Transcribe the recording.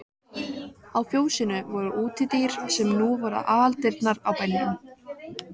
Á fjósinu voru útidyr sem nú voru aðaldyrnar á bænum.